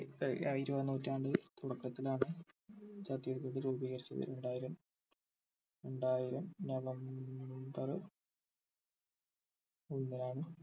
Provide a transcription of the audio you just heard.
ഏർ ഇരുപതാം നൂറ്റാണ്ട് തുടക്കത്തിലാണ് ഛത്തീസ്ഗഡ് രൂപീകരിച്ചത് രണ്ടായിരം രണ്ടായിരം november ഒന്നിനാണ്